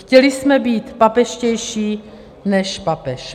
Chtěli jsme být papežštější než papež.